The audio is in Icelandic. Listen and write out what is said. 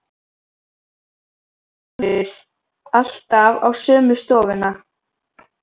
Magnús Hlynur: Alltaf á sömu stofuna?